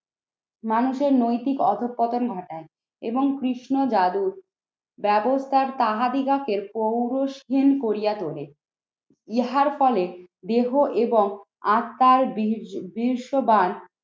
মানুষের নৈতিক অধঃপতন ঘটাই এবং কৃষ্ণ যাদব ব্যাবস্থা তাহাদিগকে হীন করিয়া তোলে। ইহার ফলে দেহ এবং আত্মার দৃশ্যবান